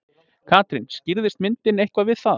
Katrín, skýrðist myndin eitthvað við það?